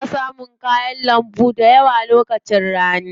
Ana samun kayan lambu dayawa lokacin rani.